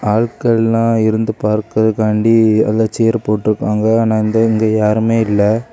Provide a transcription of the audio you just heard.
ஆட்கள்லா இருந்து பார்க்கிறதாண்டி அதுல சேர் போட்ருக்காங்க ஆனா அந்த இங்க யாருமே இல்ல.